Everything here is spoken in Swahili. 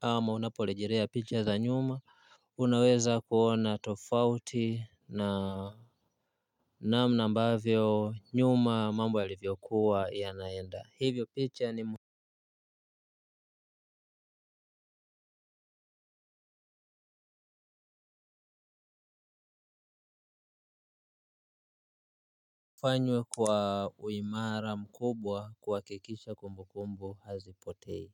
ama unaporejelea picha za nyuma unaweza kuona tofauti na namna ambavyo nyuma mambo yalivyokuwa yanaenda hufanywa kwa uimara mkubwa kuhakikisha kumbu kumbu hazipotei.